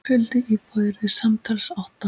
Fjöldi íbúða yrði samtals átta.